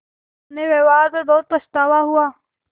अपने व्यवहार पर बहुत पछतावा हुआ